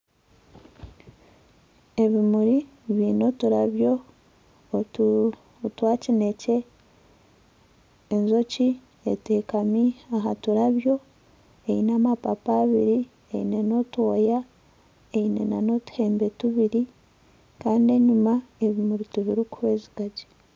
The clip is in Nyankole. Ebimuri byine oturabyo otwa kinekye enjoki etekami ahaturabyo eine amapapa abiri eine n'otwoya eine n'otuhembe tubiri kandi enyuma ebimuri tibikuhwezikagye.